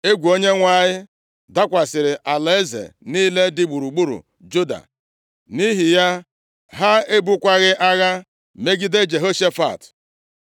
Egwu Onyenwe anyị dakwasịrị alaeze niile dị gburugburu Juda, nʼihi ya, ha ebukwaghị agha megide Jehoshafat.